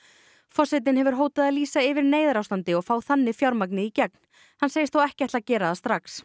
forsetinn hefur hótað að lýsa yfir neyðarástandi og fá þannig fjármagnið í gegn hann segist þó ekki ætla að gera það strax